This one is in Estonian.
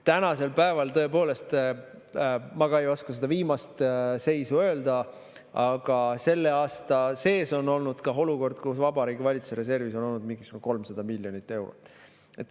Ma tõepoolest ei oska seda viimast seisu öelda, aga selle aasta sees oli olukord, kus Vabariigi Valitsuse reservis oli mingisugune 300 miljonit eurot.